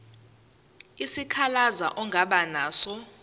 isikhalazo ongaba naso